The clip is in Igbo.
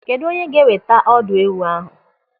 Kedụ onye ga-eweta ọdụ ewu ahụ?